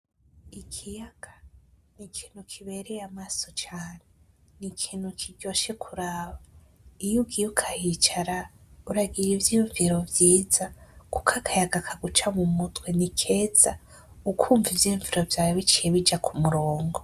Ikiyaga ni ikintu kibereye amaso cane, ni ikintu kiryoshe kuraba, iyugiye ukahicara uragira ivyiyunviro vyiza kuko akayaga kaguca mu mutwe ni keza ukumva ivyiyunviro vyawe biciye bija kumurongo.